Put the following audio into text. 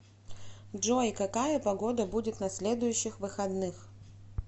джой какая погода будет на следующих выходных